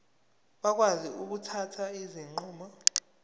bakwazi ukuthatha izinqumo